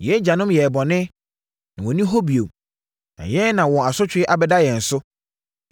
Yɛn agyanom yɛɛ bɔne, na wɔnni hɔ bio, na yɛn na wɔn asotwe abɛda yɛn so.